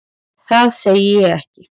Það segi ég ekki.